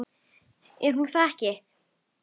Er hún þá ekki?